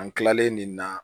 An kilalen nin na